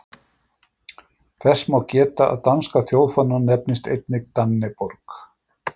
Þess má geta að danski þjóðfáninn nefnist einnig dannebrog.